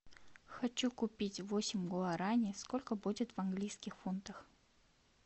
хочу купить восемь гуарани сколько будет в английских фунтах